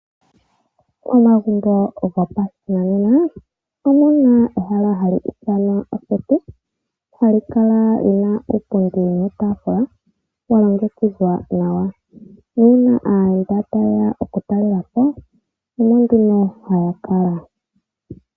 Omagumbo go pashinanena omuna ehala hali iitanwa oondunda yokukutumba hali kala liina iipundi niitafula wa longekidhwa nawa , nuuna aayenda taye ya okutalelapo omo nduno haya kala.